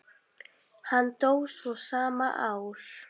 Hann dó svo sama ár.